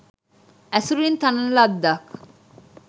ඇසුරින් තනන ලද්දක්